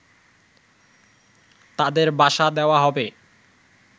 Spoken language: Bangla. তাদের বাসা দেওয়া হবে